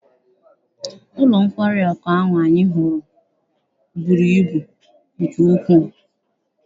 Ụlọ nkwari ahụ anyị hụrụ buru ibu nke ukwuu.